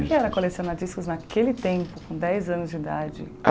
Discos Como era colecionar discos naquele tempo, com dez anos de idade?